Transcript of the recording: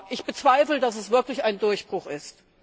Ich bezweifle, dass es wirklich ein Durchbruch ist.